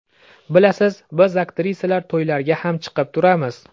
Bilasiz, biz aktrisalar to‘ylarga ham chiqib turamiz.